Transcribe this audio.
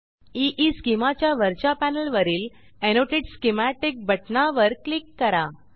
ईस्केमा च्या वरच्या पॅनेलवरील एनोटेट स्कीमॅटिक बटणावर क्लिक करा